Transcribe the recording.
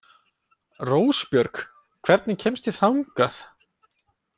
Rósbjörg, hvernig kemst ég þangað?